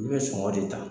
U bɛ sɔngɔ de ta